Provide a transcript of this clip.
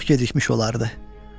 Amma çox gecikmiş olardı.